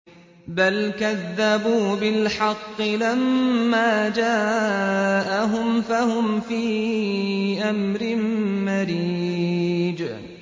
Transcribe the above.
بَلْ كَذَّبُوا بِالْحَقِّ لَمَّا جَاءَهُمْ فَهُمْ فِي أَمْرٍ مَّرِيجٍ